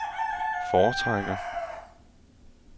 foretrækker